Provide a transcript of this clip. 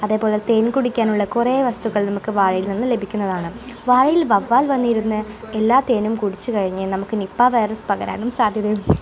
അതേപോലെ തേൻ കുടിക്കാൻ ഉള്ള കുറെ വസ്തുക്കൾ നമുക്ക് വാഴയിൽ നിന്ന് ലഭിക്കുന്നതാണ് വാഴയിൽ വവ്വാൽ വന്നിരുന്ന് എല്ലാ തേനും കുടിച്ചു കഴിഞ്ഞ് നമുക്ക് നിപ്പാ വൈറസ് പകരാനും സാധ്യതയുമുണ്ട്.